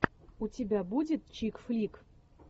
у тебя будет чик флик